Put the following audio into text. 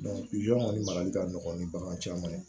kɔni marali ka nɔgɔ ni bagan caman ye